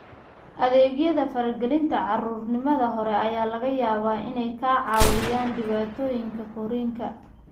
Adeegyada faragelinta carruurnimada hore ayaa laga yaabaa inay ka caawiyaan dhibaatooyinka korriinka.